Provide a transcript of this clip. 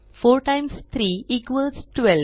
4 times 3 equals 12